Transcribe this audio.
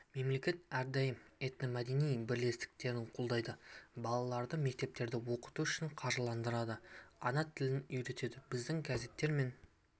мемлекет әрдайым этномәдени бірлестіктерді қолдайды балаларды мектептерде оқыту үшін қаржыландырады ана тілін үйретеді біздің газеттер мен